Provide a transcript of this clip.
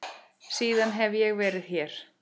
Síðan hef ég verið hér.